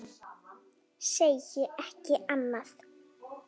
Segi ekki annað.